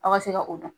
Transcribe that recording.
Aw ka se ka o dɔn